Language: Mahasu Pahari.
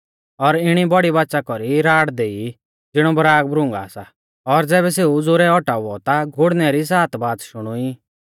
और इणी बौड़ी बाच़ा कौरी राड़ देई ज़िणौ बराग भ्रूँगा सा और ज़ैबै सेऊ ज़ोरै औटाउऔ ता गुड़णै री सात बाच़ शुणुई